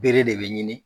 Bere de bɛ ɲini